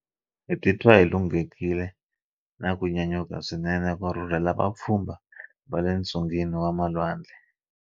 Hi titwa hi lunghekile na ku nyanyuka swinene ku rhurhela vapfhumba va le ntsungeni wa malwandle.